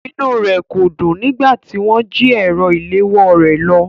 Inúu rẹ̀ kò dùn nígbà tí wọ́n jí ẹ̀rọ ìléwọ́o rè lọ.